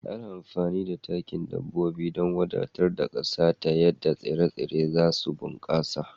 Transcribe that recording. Ana amfani da takin dabbobi don wadatar ƙasa ta yadda tsire-tsire za su bunkasa